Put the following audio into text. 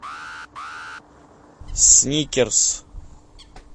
сникерс